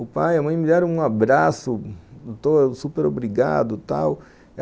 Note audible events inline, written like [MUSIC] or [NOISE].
O pai e a mãe me deram um abraço, [UNINTELLIGIBLE] super obrigado e tal.